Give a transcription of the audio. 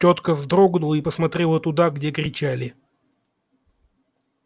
тётка вздрогнула и посмотрела туда где кричали